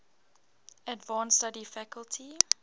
advanced study faculty